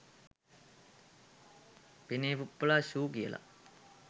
පෙනේ පුප්පලා ෂූ කියලා